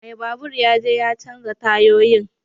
Mai babur ya je ya canza tayoyin.